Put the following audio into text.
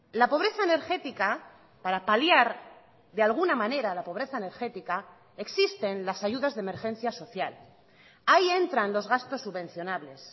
la pobreza energética para paliar de alguna manera la pobreza energética existen las ayudas de emergencia social ahí entran los gastos subvencionables